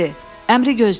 Əmri gözlə.